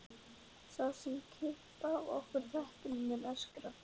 Sá sem kippi af okkur teppinu muni öskra.